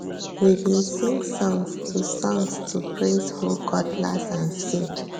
we bin sing songs to songs to praise hoe cutlass and seed